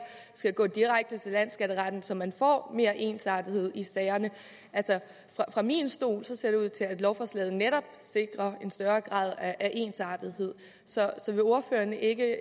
skal gå direkte til landsskatteretten så man får mere ensartethed i sagerne altså fra min stol ser det ud til at lovforslaget netop sikrer en større grad af ensartethed så vil ordføreren ikke